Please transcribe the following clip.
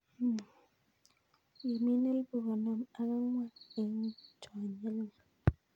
Imin elpu konom ak angw'an en chonyelnyel.